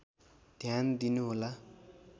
ध्यान दिनुहोला